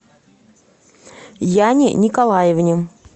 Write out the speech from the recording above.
яне николаевне